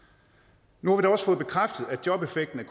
nu har vi da også fået bekræftet at jobeffekten af